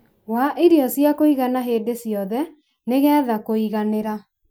wa irio cia kũigana hĩndĩ ciothe nĩ getha kũiganĩra